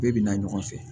Bɛɛ bina ɲɔgɔn fɛ